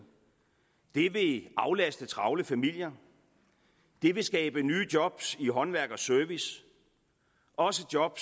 det vil aflaste travle familier det vil skabe nye job i håndværk og service også job